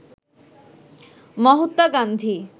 Mahatma Gandhi